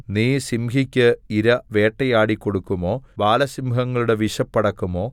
നീ സിംഹിയ്ക്ക് ഇര വേട്ടയാടിക്കൊടുക്കുമോ ബാലസിംഹങ്ങളുടെ വിശപ്പടക്കുമോ